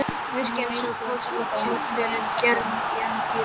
Myrkrið eins og kolsvört tjöld fyrir glerinu í anddyrinu.